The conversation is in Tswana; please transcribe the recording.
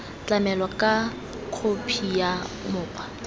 tlamelwa ka khophi ya mokgwa